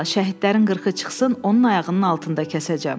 İnşallah, şəhidlərin qırxı çıxsın, onun ayağının altında kəsəcəm.